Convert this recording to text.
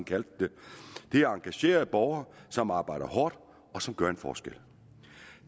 kaldte det det er engagerede borgere som arbejder hårdt og som gør en forskel